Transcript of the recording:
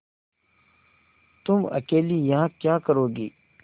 तुम अकेली यहाँ क्या करोगी